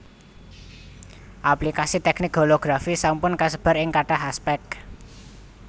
Aplikasi teknik holografi sampun kasebar ing kathah aspèk